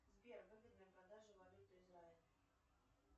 сбер выгодная продажа валюты израиль